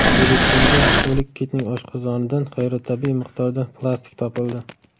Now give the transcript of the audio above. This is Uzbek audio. Filippinda o‘lik kitning oshqozonidan g‘ayritabiiy miqdorda plastik topildi.